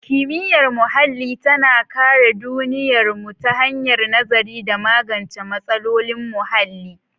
Kimiyyar muhalli tana kare duniyarmu ta hanyar nazari da magance matsalolin muhalli.